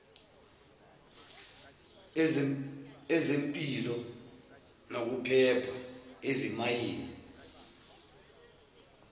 ezempilo nokuphepha ezimayini